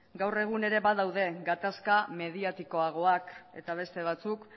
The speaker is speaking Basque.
gaur egun ere badaude gatazka mediatikoagoak eta beste batzuk